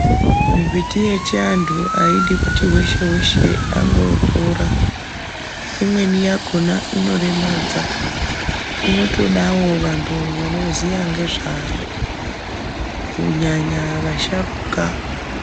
Mimbiti yechivantu aidi kuti weshe weshe angotora imweni yakona inoremadza inotodewo vantu vanoziva ngezvayo kunyanya vasharuka.